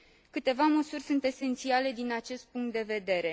Câteva măsuri sunt esențiale din acest punct de vedere.